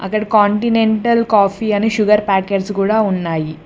అక్కడ continental coffee అని sugar packets కూడా ఉన్నాయి